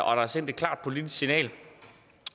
og der er sendt et klart politisk signal